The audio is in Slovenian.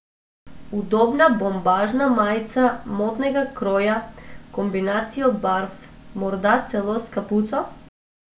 Udobna bombažna majica modnega kroja, kombinacijo barv, morda celo s kapuco?